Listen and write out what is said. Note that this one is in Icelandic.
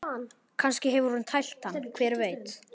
Kannski hefur hún tælt hann, hver veit?